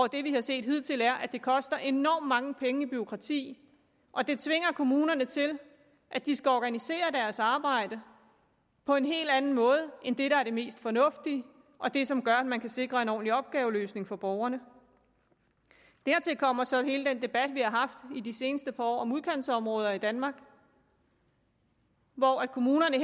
det vi har set hidtil er at det koster enormt mange penge i bureaukrati og det tvinger kommunerne til at de skal organisere deres arbejde på en helt anden måde end det der er det mest fornuftige og det som gør at man kan sikre en ordentlig opgaveløsning for borgerne dertil kommer så hele den debat vi har haft i de seneste par år om udkantsområder i danmark hvor kommunerne